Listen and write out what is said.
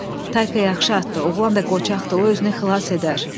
Tayka yaxşı atdı, oğlan da qoçaqdır, o özünü xilas edər.